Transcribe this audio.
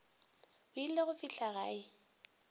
o ile go fihla gae